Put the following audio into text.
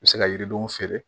U bɛ se ka yiridenw feere